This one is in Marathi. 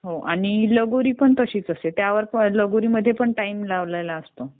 हां. आणि लगोरी पण तशीच असते. लगोरीमध्ये पण टाईम लावलेला असतो.